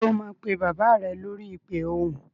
Ṣé o máa pe bàbá rẹ lórí ìpè ohùn?